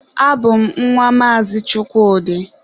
Abụ m nwa Maazị Chukwudi.